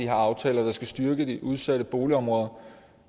her aftaler der skal styrke de udsatte boligområder